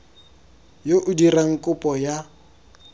yo o dirang kopo ya